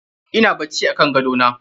Ina bacci akan gadona.